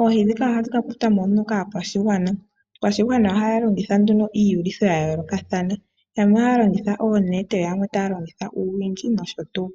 oohi dhika ohadhi ka kwatwa mo kaa kwashigwana, aakwashigwana ohaya longitha nduno iiyulitho ya yoolokathana, yamwe ohaya longitha oonete yamwe taya longitha uundjolo nosho tuu.